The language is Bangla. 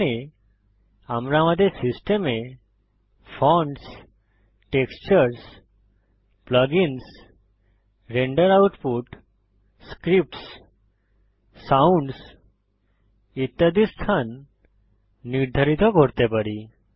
এখানে আমরা আমাদের সিস্টেমে fonts textures plugins render output scripts sounds ইত্যাদির স্থান নির্ধারিত করতে পারি